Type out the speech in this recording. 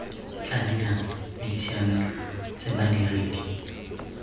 tla dirang ditshiamelo tse badiredi